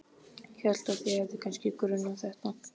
Hélt að þig hefði kannski grunað þetta.